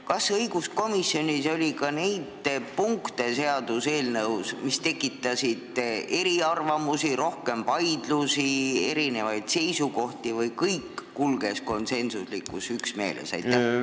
Kas õiguskomisjonis oli arutelu all ka neid seaduseelnõu punkte, mis tekitasid eriarvamusi, rohkem vaidlusi, erinevaid seisukohti, või kulges kõik konsensuslikus üksmeeles?